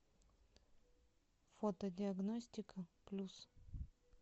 фото диагностика плюс